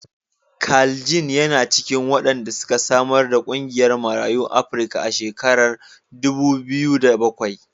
Carl Ginn yana cikin wanda suka samar da ƙungiyar Marayun Afrika a shekarar dubu biyu da bakwai.